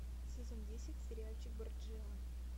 сезон десять сериальчик борджиа